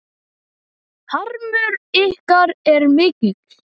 Harmur ykkar er mikill.